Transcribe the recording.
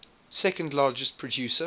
second largest producer